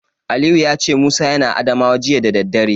Aliyu ya ce Musa yana Adamawa jiya da daddare.